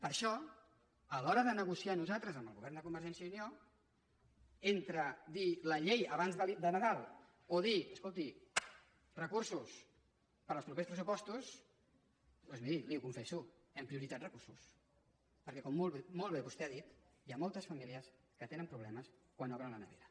per això a l’hora de negociar nosaltres amb el govern de convergència i unió entre dir la llei abans de nadal o dir escolti recursos per als propers pressupostos doncs miri li ho confesso hem prioritzat recursos perquè com molt bé vostè ha dit hi ha moltes famílies que tenen problemes quan obren la nevera